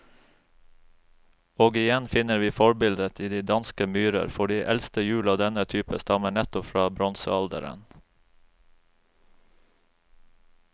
Og igjen finner vi forbildet i de danske myrer, for de eldste hjul av denne type stammer nettopp fra bronsealderen.